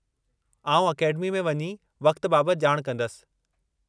आउं अकेडमी में वञी वक़्त बाबति ॼाण कंदसि।